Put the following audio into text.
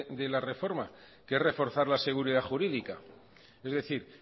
de la reforma que es reforzar la seguridad jurídica es decir